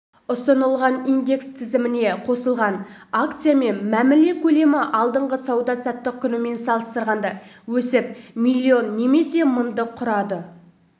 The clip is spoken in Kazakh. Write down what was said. ұсынылған индекс тізіміне қосылған акциямен мәміле көлемі алдыңғы сауда-саттық күнімен салыстырғанда өсіп миллион немесе мыңды құрады